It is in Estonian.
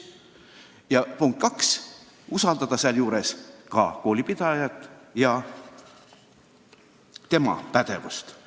Ja punkt kaks: samas tuleb koolipidajat usaldada ja tema pädevusse uskuda.